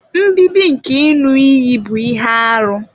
Nbibi nke iṅu-iyi bu ihe-árú.